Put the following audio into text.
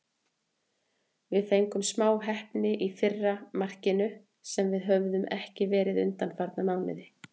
Við fengum smá heppni í fyrra markinu, sem við höfum ekki verið undanfarna mánuði.